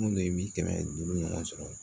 Mun de bi kɛmɛ duuru ɲɔgɔn sɔrɔ